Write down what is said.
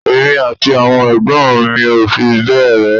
Èmi àti àwọn ẹ̀gbọ́n mi ò fi bẹ́ẹ̀ rẹ́